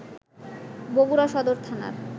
বগুড়া সদর থানার